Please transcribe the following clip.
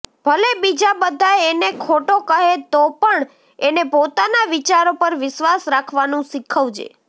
ભલે બીજા બઘા એને ખોટો કહે તોપણ એને પોતાના વિચારો પર વિશ્વાસ રાખવાનું શીખવજે